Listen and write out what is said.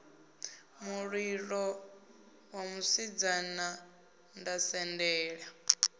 mulilo nṋe musidzana nda sendela